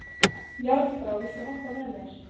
Járnbrá, viltu hoppa með mér?